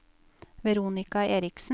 Veronika Eriksen